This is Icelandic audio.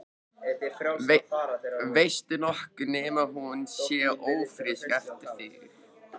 Veistu nokkuð nema hún sé ófrísk eftir þig?